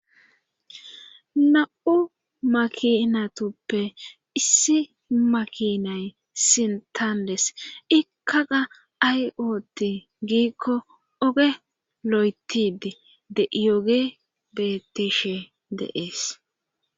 Na'u makinatuppe issi makinay sintandes ikkaga ayooti giikko oge lo'etidi de iyoge betishe deees.